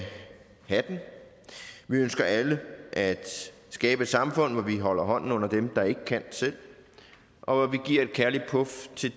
have den vi ønsker alle at skabe et samfund hvor vi holder hånden under dem der ikke kan selv og hvor vi giver et kærligt puf til